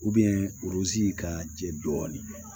ka jɛ dɔɔnin